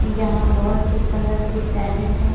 यहा बहुत से कलर के पैरट है।